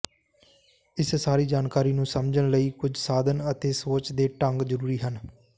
ਇਸ ਸਾਰੀ ਜਾਣਕਾਰੀ ਨੂੰ ਸਮਝਣ ਲਈ ਕੁਝ ਸਾਧਨ ਅਤੇ ਸੋਚ ਦੇ ਢੰਗ ਜ਼ਰੂਰੀ ਹਨ